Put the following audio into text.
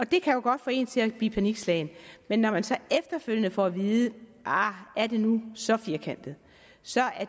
det kan jo godt få en til at blive panikslagen men når man så efterfølgende får at vide ahr er det nu så firkantet så er